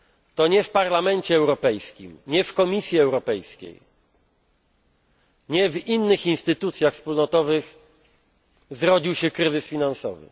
To nie w Parlamencie Europejskim, nie w Komisji Europejskiej, nie w innych instytucjach wspólnotowych zrodził się kryzys finansowy.